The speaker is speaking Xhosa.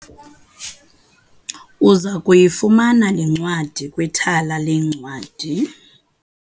Uza kuyifumana le ncwadi kwithala leencwadi.